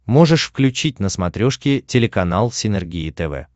можешь включить на смотрешке телеканал синергия тв